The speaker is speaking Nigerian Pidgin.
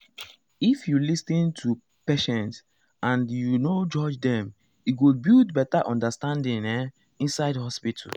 if you lis ten to patients and you no judge dem e go build better understanding ehm inside hospital.